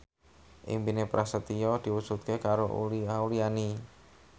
impine Prasetyo diwujudke karo Uli Auliani